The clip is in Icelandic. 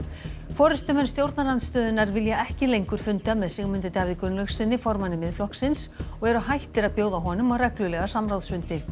forystumenn stjórnarandstöðunnar vilja ekki lengur funda með Sigmundi Davíð Gunnlaugssyni formanni Miðflokksins og eru hættir að bjóða honum á reglulega samráðsfundi